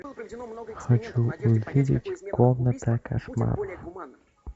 хочу увидеть комната кошмаров